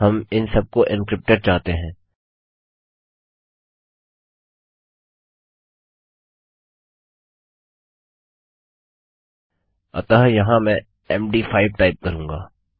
हम इन सबको एन्क्रिप्टेड चाहते हैं अतः यहाँ मैं मद5 टाइप करूँगा